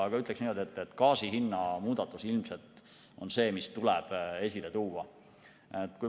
Aga gaasi hinna muudatus ilmselt on see, mis tuleb esile tuua.